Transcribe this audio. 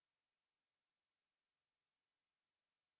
ओह! हमें एक एरर मिली